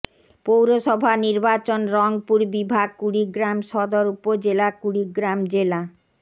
পৌরসভা নির্বাচন রংপুর বিভাগ কুড়িগ্রাম সদর উপজেলা কুড়িগ্রাম জেলা